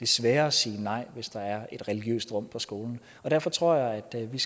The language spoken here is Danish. sværere at sige nej hvis der er et religiøst rum på skolen derfor tror jeg at vi